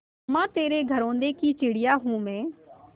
अम्मा तेरे घरौंदे की चिड़िया हूँ मैं